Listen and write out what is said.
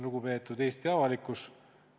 Lugupeetud Eesti avalikkus!